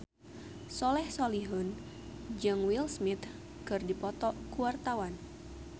Soleh Solihun jeung Will Smith keur dipoto ku wartawan